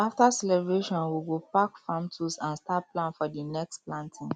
after celebration we go pack farm tools and start plan for the next planting